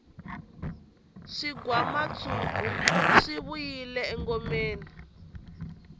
swigwamatshuki swi vuyile engomeni